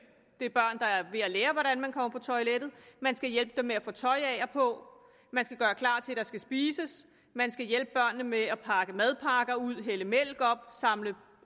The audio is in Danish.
det er børn der er ved at lære hvordan man går på toilettet man skal hjælpe dem med at få tøj af og på man skal gøre klar til at der skal spises man skal hjælpe børnene med at pakke madpakker ud hælde mælk op samle